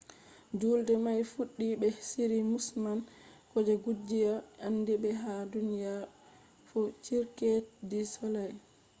juulde mai fuddi be shiri musamman je kungiya andibe ha duniya fu cirque du soleil